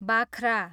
बाख्रा